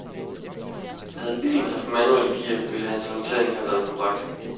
Havde bilen haft manuelt gear, ville hans håndtering have været korrekt.